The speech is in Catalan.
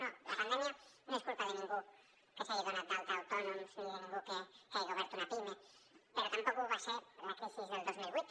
no la pandèmia no és culpa de ningú que s’hagi donat d’alta d’autònoms ni de ningú que hagi obert una pime però tampoc ho va ser la crisi del dos mil vuit